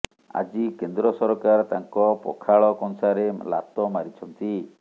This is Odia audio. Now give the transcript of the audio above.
ଆଜି କେନ୍ଦ୍ର ସରକାର ତାଙ୍କ ପଖାଳ କଂସାରେ ଲାତ ମାରିଛନ୍ତି